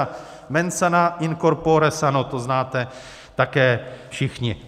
A mens sana in corpore sano, to znáte také všichni.